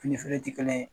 Fini feere tɛ kelen ye